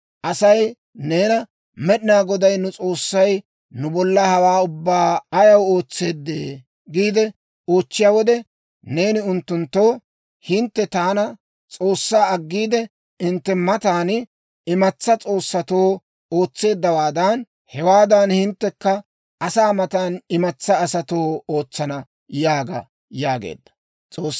Asay neena, ‹Med'inaa Goday nu S'oossay nu bolla hawaa ubbaa ayaw ootseedee?› giide oochchiyaa wode, neeni unttunttoo, ‹Hintte taana, S'oossaa aggiide, hintte matan imatsaa s'oossatoo ootseeddawaadan, hewaadan hinttekka asaa matan imatsaa asatoo ootsana› yaaga» yaageedda.